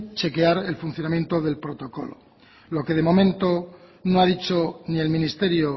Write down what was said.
chequear el funcionamiento del protocolo lo que de momento no ha dicho ni el ministerio